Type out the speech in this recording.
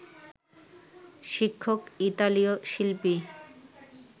শিক্ষক ইতালীয় শিল্পী